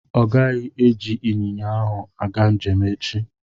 Ọ gaghị eji ịnyịnya ahụ aga njem echi.